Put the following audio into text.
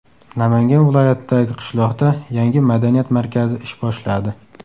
Namangan viloyatidagi qishloqda yangi madaniyat markazi ish boshladi.